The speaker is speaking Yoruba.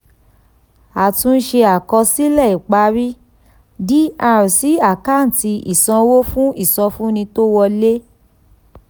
àtúnṣe àkọsílẹ̀ ìparí dr sí àkáǹtì ìsanwó fún ìsọfúnni tó wọlé.